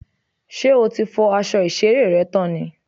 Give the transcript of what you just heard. Ṣé o ti fọ́ aṣọ ìṣeré rẹ tán ni?